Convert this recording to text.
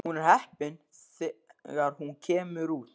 Hún er heppin þegar hún kemur út.